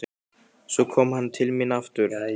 Svo kom hann til mín aftur.